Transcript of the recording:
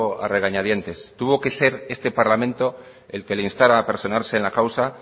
a regañadientes tuvo que ser este parlamento el que le instara a personarse en la causa